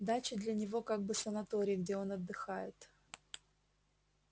дача для него как бы санаторий где он отдыхает